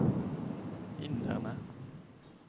inderne